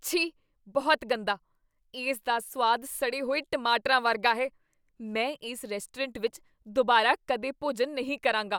ਛੀ! ਬਹੁਤ ਗੰਦਾ! ਇਸ ਦਾ ਸੁਆਦ ਸੜੇ ਹੋਏ ਟਮਾਟਰਾਂ ਵਰਗਾ ਹੈ, ਮੈਂ ਇਸ ਰੈਸਟੋਰੈਂਟ ਵਿੱਚ ਦੁਬਾਰਾ ਕਦੇ ਭੋਜਨ ਨਹੀਂ ਕਰਾਂਗਾ।